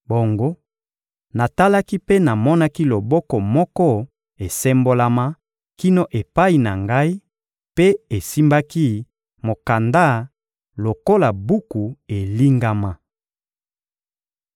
Bongo natalaki mpe namonaki loboko moko esembolama kino epai na ngai mpe esimbaki mokanda lokola buku elingama.